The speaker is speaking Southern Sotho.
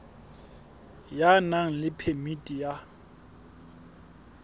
ya nang le phemiti ya